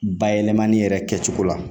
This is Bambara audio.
Bayɛlɛmani yɛrɛ kɛcogo la